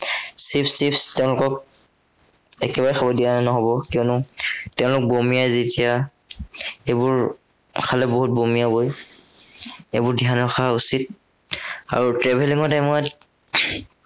Chips টিপচ তেওঁলোকক, একেবাৰে খাব দিয়া নহব, কিয়নো তেওঁলোক বমিয়াই যেতিয়া, সেইবোৰ খালে বহুত বমিয়াবই। এইবোৰ ধ্য়ান ৰখা উচিত। আৰু travelling ৰ time ত